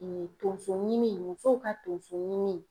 tonsoɲimi musow ka tonsoɲimi.